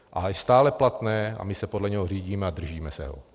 A je stále platné a my se podle něho řídíme a držíme se ho.